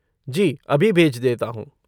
जी अभी भेज देता हूँ!